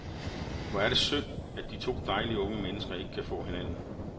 Hvor er det synd, at de to dejlige, unge mennesker ikke kan få hinanden.